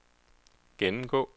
gennemgå